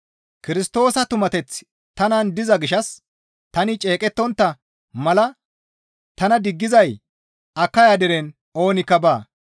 Kirstoosa tumateththi tanan diza gishshas tani ceeqettontta mala tana diggizay Akaya deren oonikka baa.